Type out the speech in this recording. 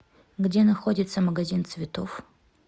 где находится магазин цветов